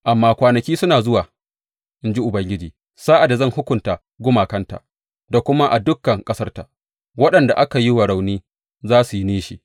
Amma kwanaki suna zuwa, in ji Ubangiji, sa’ad da zan hukunta gumakanta, da kuma a dukan ƙasarta waɗanda aka yi wa rauni, za su yi nishi.